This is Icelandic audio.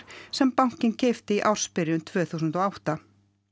sem bankinn keypti í ársbyrjun tvö þúsund og átta